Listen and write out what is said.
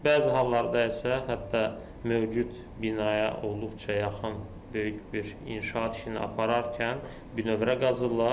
Bəzi hallarda isə hətta mövcud binaya olduqca yaxın böyük bir inşaat işini apararkən bünövrə qazırlar.